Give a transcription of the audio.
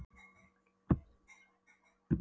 Magga til að komast heim með strætó um morguninn.